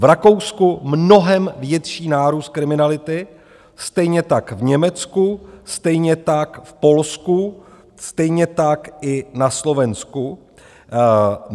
V Rakousku mnohem větší nárůst kriminality, stejně tak v Německu, stejně tak v Polsku, stejně tak i na Slovensku.